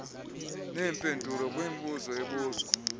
neempendulo kwimibuzo ebuzwa